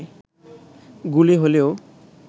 গুলি হলেও